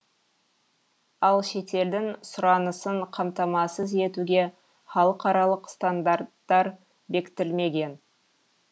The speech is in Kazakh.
ал шетелдің сұранысын қамтамасыз етуге халықаралық стандарттар бекітілмеген